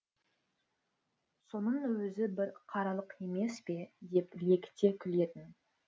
соның өзі бір қаралық емес пе деп лекіте күлетін